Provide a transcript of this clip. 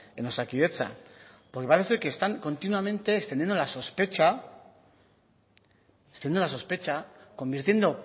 en osakidetza porque parece que están continuamente extendiendo la sospecha convirtiendo